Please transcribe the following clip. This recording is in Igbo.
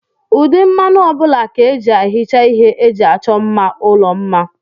Ụdị mmanụ ọbụla ka eji ehicha ihe eji achọ mma ụlọ mma.